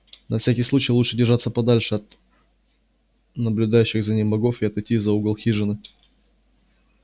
на всякий случай лучше держаться подальше от наблюдающих за ним богов и отойти за угол хижины